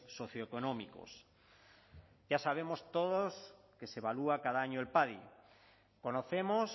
socioeconómicos ya sabemos todos que se evalúa cada año el padi conocemos